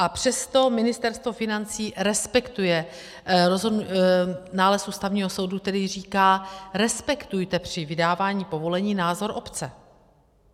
A přesto - Ministerstvo financí respektuje nález Ústavního soudu, který říká, respektujte při vydávání povolení názor obce.